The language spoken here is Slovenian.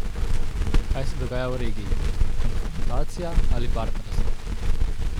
Kaj se dogaja v regiji, konfrontacija ali partnerstvo?